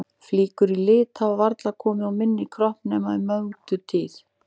Flíkur í lit hafa varla komið á minn kropp nema í Mögdu tíð.